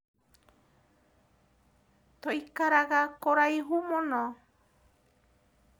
Tũikaraga kũraihu mũno.